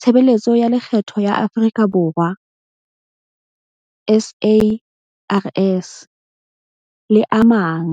Tshebeletso ya Lekgetho ya Afrika Borwa, SARS, le a mang.